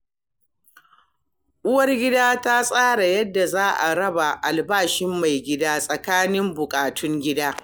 Uwargida ta tsara yadda za a raba albashin maigida tsakanin buƙatun gida.